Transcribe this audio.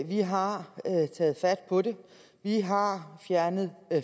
vi har taget fat på det vi har fjernet